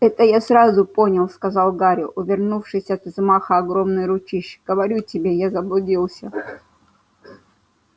это я сразу понял сказал гарри увернувшись от взмаха огромной ручищи говорю тебе я заблудился